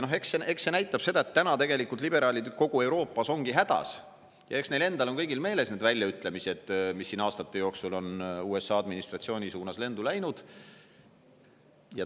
Eks see näitab seda, et nüüd ongi liberaalid kogu Euroopas hädas, sest neil endal on kõigil meeles need väljaütlemised, mis on aastate jooksul USA administratsiooni suunas lendu läinud.